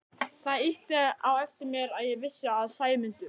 Það ýtti á eftir mér að ég vissi að Sæmundur